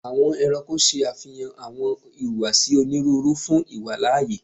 Awọn ẹranko ṣe afihan awọn ihuwasi oniruuru fun iwalaaye